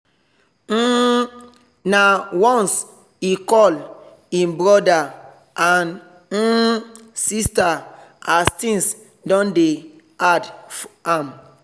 um nah once e call e brother and um sister as things don dey hard am